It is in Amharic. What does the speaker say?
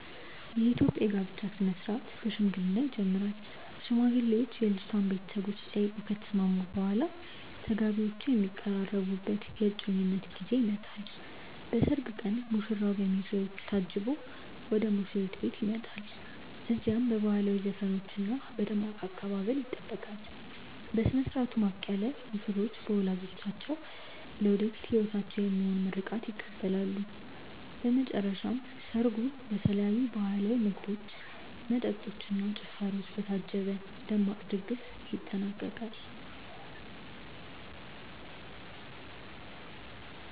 የኢትዮጵያ የጋብቻ ሥነ ሥርዓት በሽምግልና ይጀምራል። ሽማግሌዎች የልጅቷን ቤተሰቦች ጠይቀው ከተስማሙ በኋላ፣ ተጋቢዎቹ የሚቀራረቡበት የእጮኝነት ጊዜ ይመጣል። በሰርግ ቀን ሙሽራው በሚዜዎቹ ታጅቦ ወደ ሙሽሪት ቤት ይሄዳል። እዚያም በባህላዊ ዘፈኖችና በደማቅ አቀባበል ይጠበቃል። በሥነ ሥርዓቱ ማብቂያ ላይ ሙሽሮች በወላጆቻቸው ለወደፊት ሕይወታቸው የሚሆን ምርቃት ይቀበላሉ። በመጨረሻም ሰርጉ በተለያዩ ባህላዊ ምግቦች፣ መጠጦች እና ጭፈራዎች በታጀበ ደማቅ ድግስ ይጠናቀቃል።